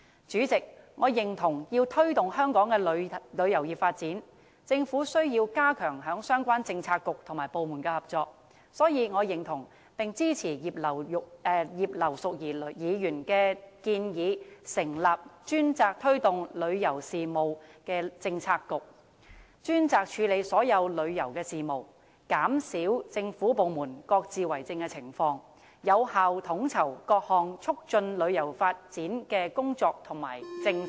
主席，我認為要推動香港的旅遊業發展，政府需要加強相關政策局和部門的合作，所以我認同並支持葉劉淑儀議員的建議，成立專責推動旅遊事務的政策局，專責處理所有旅遊事務，減少政府部門各自為政的情況，並有效地統籌各項促進旅遊發展的工作和政策。